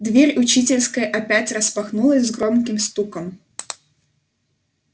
дверь учительской опять распахнулась с громким стуком